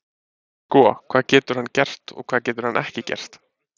Sko, hvað getur hann gert og hvað getur hann ekki gert?